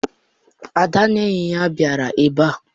Ada na ndị enyi ya bịara ebe a.